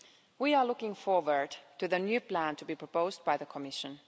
We are looking forward to the new plan to be proposed by the Commission.